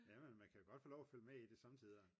man kan godt få lov at følge med i det sommetider